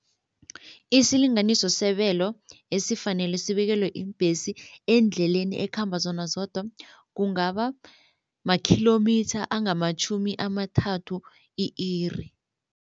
Isilinganiso sebelo esifanele sibekelwe iimbhesi eendleleni ekhamba zona zodwa kungaba makhilomitha angamatjhumi amathathu i-iri.